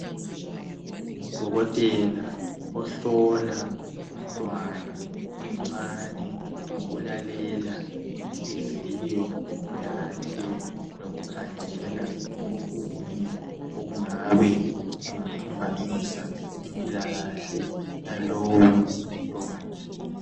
Udokotela ohlola umntwana omncane ngokulalela inhliziyo yakhe lokukhangela okunye okungabe kungaphambanisa impilakahle yalowumntwana.